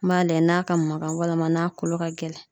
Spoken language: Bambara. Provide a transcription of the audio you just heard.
N b'a layɛ n'a ka magan walima n'a kolo ka gɛlɛn.